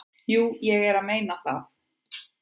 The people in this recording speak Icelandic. """Jú, ég er að meina það."""